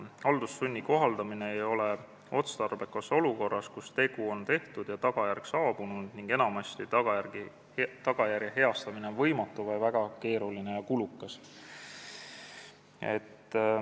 Haldussunni kohaldamine ei ole otstarbekas olukorras, kus tegu on tehtud ja tagajärg saabunud ning enamasti on tagajärje heastamine võimatu või väga keeruline ja kulukas.